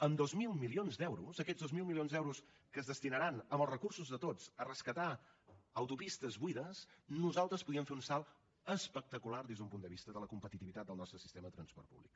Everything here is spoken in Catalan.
amb dos mil milions d’euros aquests dos mil milions d’euros que es destinaran amb els recursos de tots a rescatar autopistes buides nosaltres podríem fer un salt espectacular des del punt de vista de la competitivitat del nostre sistema de transport públic